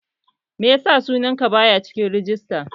Meyasa sunan ka baya cikin rajista